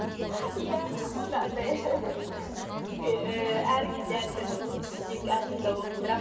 иә онда андай ііі әр кезде әртүрлі ол кісіні тек арасында оқып тұрамын